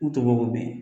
U tɔbɔ bɛ yen